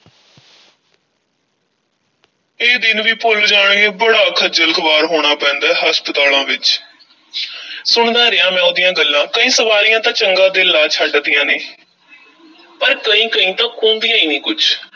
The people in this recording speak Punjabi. ਇਹ ਦਿਨ ਵੀ ਭੁੱਲ ਜਾਣਗੇ, ਬੜਾ ਖੱਜਲ-ਖੁਆਰ ਹੋਣਾ ਪੈਂਦਾ ਏ ਹਸਪਤਾਲਾਂ ਵਿੱਚ ਸੁਣਦਾ ਰਿਹਾ, ਮੈਂ ਉਹਦੀਆਂ ਗੱਲਾਂ ਕਈ ਸਵਾਰੀਆਂ ਤਾਂ ਚੰਗਾ ਦਿਲ ਲਾ ਛੱਡਦੀਆਂ ਨੇ ਪਰ ਕਈ-ਕਈ ਤਾਂ ਕੂੰਦੀਆਂ ਈ ਨਹੀਂ ਕੁਛ।